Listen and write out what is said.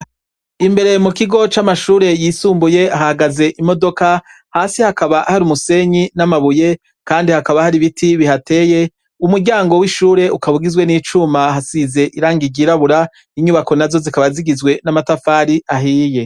Imbere mu kigo c'amashure yisumbuye hahagaze imodoka; hasi hakaba hari umusenyi n'amabuye, kandi hakaba hari ibiti bihateye. Umuryango w'ishure ukaba ugizwe n'icuma; hasize irangi ryirabura. Inyubako nazo zikaba zigizwe n'amatafari ahiye.